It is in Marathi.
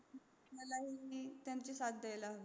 आपल्यालाही त्यांची साथ नक्की द्यायला हवी